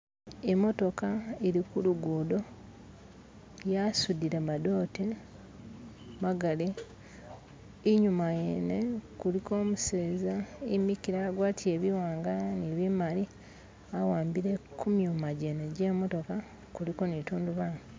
imotoka ilikukuguddo yasuddile madote magali inyuma yene kuliko umuseza imikile agwatile biwanga ni bimali aambile kumyuma gyene gye motoka kuliko ni litundubali.